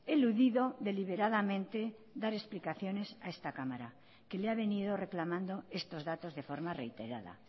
eludido deliberadamente dar explicaciones a esta cámara que le ha venido reclamando estos datos de forma reiterada